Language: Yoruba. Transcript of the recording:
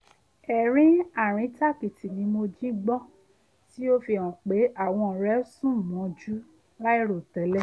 ẹ̀rín àríntàkìtì ni mo jí gbọ́ tí ó fi hàn pé àwọn ọ̀rẹ́ sùn mọ́jú láìròtẹ́lẹ̀